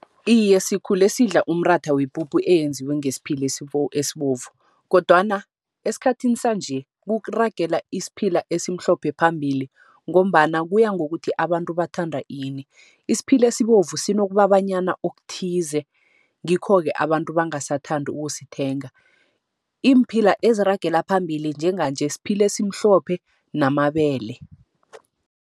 Iye, sikhule sidla umratha wepuphu eyenziwe ngesiphila esibovu kodwana esikhathini sanje, kuragela isiphila esimhlophe phambili, ngombana kuya ngokuthi abantu bathanda ini. Isiphila esibovu sinokubabanyana okuthize, ngikho-ke abantu bangasathandi ukusithenga. Iimphila eziragela phambili njenganje, siphila esimhlophe namabele.